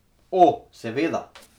O, seveda.